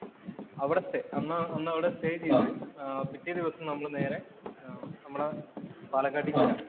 അവിടെ സ്റ്റേ. അന്നവിടെ സ്റ്റേ ചെയ്ത് ആഹ് പിറ്റേ ദിവസം നമ്മള് നേരെ നമ്മടെ പാലക്കാട്ടീ ചെല്ലും.